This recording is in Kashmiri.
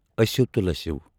أسِو تہٕ لٔسِو